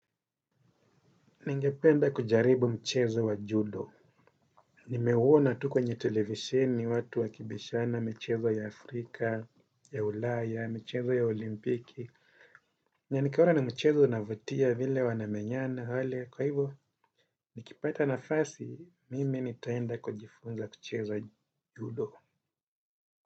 Ningependa kujaribu mchezo wa judo. Nimeuona tu kwenye televisini watu wa kibishana michezo ya Afrika, ya ulaya, michezo ya olimpiki. Na nikaona ni mchezo unavutia vile wanamenyana wale. Kwa hivo, nikipata nafasi, mimi nitaenda kujifunza kucheza judo.